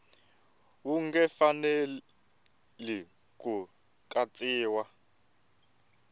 wu nge fikeleli ku katsiwa